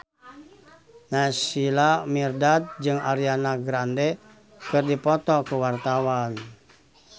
Naysila Mirdad jeung Ariana Grande keur dipoto ku wartawan